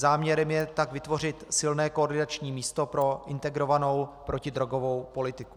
Záměrem tak je vytvořit silné koordinační místo pro integrovanou protidrogovou politiku.